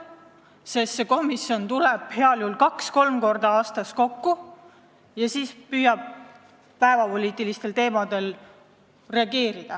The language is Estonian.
See komisjon tuleb heal juhul kaks-kolm korda aastas kokku ja siis püüab päevapoliitilistel teemadel reageerida.